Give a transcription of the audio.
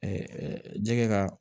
jɛgɛ ka